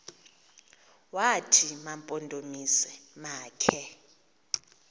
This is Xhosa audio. wathi mampondomise makhe